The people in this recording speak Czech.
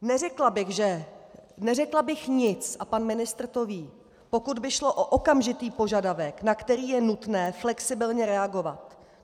Neřekla bych nic a pan ministr to ví, pokud by šlo o okamžitý požadavek, na který je nutné flexibilně reagovat.